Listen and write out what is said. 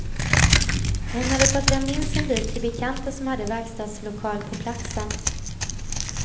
Hon hade fått lämna in sin bil till bekanta som hade verkstadslokal på platsen.